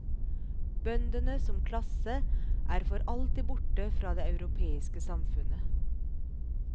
Bøndene som klasse er for alltid borte fra det europeiske samfunnet.